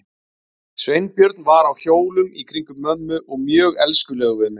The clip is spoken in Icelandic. Sveinbjörn var á hjólum í kringum mömmu og mjög elskulegur við mig.